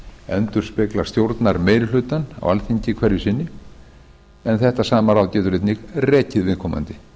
endurspeglar stjórnarmeirihlutann á alþingi hverju sinni en þetta sama ráð getur einnig rekið viðkomandi